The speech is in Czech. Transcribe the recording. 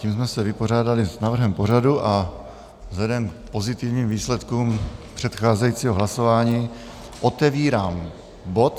Tím jsme se vypořádali s návrhem pořadu a vzhledem k pozitivním výsledkům předcházejícího hlasování otevírám bod